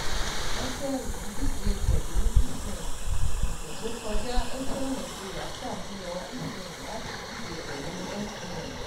Airtel ń dije pẹ̀lú eSIM: Ọ̀sẹ̀ tó kọjá, Airtel Nigeria ṣafihan eSIM láti dije pẹ̀lú MTN